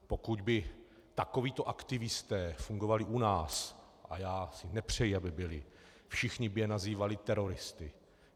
Pokud by takovíto aktivisté fungovali u nás, a já si nepřeji, aby byli, všichni by je nazývali teroristy.